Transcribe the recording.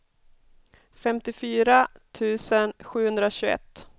femtiofyra tusen sjuhundratjugoett